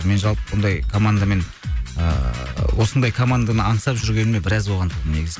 мен жалпы бұндай командамен ыыы осындай команданы аңсап жүргеніме біраз болған негізі